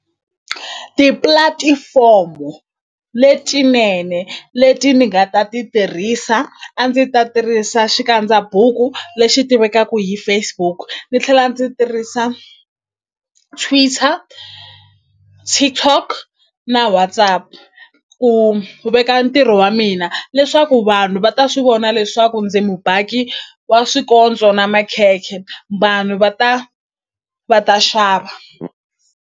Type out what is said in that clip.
Tipulatifomo letinene leti ni nga ta ti tirhisa a ndzi ta tirhisa xikandza buku lexi tivekaku hi Facebook ni tlhela ndzi tirhisa Twitter, TikTok na WhatsApp ku veka ntirho wa mina leswaku vanhu va ta swi vona leswaku ndzi mubaki wa swikontso na makhekhe vanhu va ta va ta xava.